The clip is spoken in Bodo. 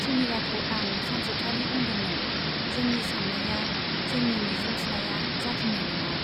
सुमिलाखौ आं सानसेखालि बुंदोंमोन जोंनि सान्नाया , जोंनि मिजिंथिनाया जाफुंनाय नङा।